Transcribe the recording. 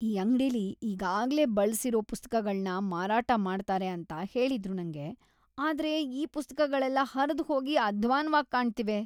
ಈ ಅಂಗ್ಡಿಲಿ ಈಗಾಗ್ಲೇ ಬಳ್ಸಿರೋ ಪುಸ್ತಕಗಳ್ನ ಮಾರಾಟ ಮಾಡ್ತಾರೆ ಅಂತ ಹೇಳಿದ್ರು ನಂಗೆ, ಆದ್ರೆ ಈ ಪುಸ್ತಕಗಳೆಲ್ಲ ಹರ್ದ್‌ಹೋಗಿ ಅಧ್ವಾನ್‌ವಾಗ್‌ ಕಾಣ್ತಿವೆ.